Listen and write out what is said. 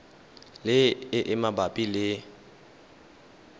le e e mabapi le